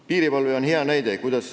Piirivalve on hea näide.